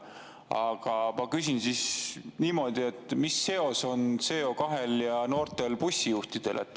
Aga ma küsin siis niimoodi: mis seos on CO2-l ja noortel bussijuhtidel?